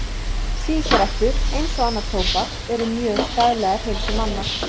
Sígarettur, eins og annað tóbak, eru mjög skaðlegar heilsu manna.